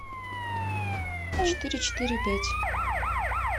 четыре четыре пять